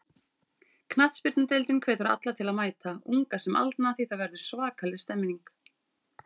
Knattspyrnudeildin hvetur alla til að mæta, unga sem aldna því það verður svakaleg stemning.